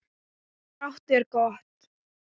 Grátt er gott.